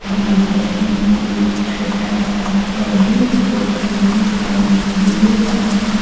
यहां पर हमें एक छोटा सा टेडी बियर भी दिखाई दे रहा है।